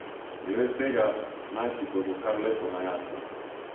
Glede tega naj si bodo kar lepo na jasnem.